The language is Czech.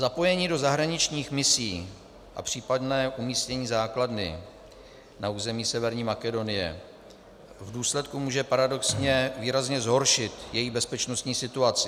Zapojení do zahraničních misí a případné umístění základny na území Severní Makedonie v důsledku může paradoxně výrazně zhoršit její bezpečnostní situaci.